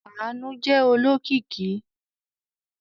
Àánú jẹ́ olókìkí.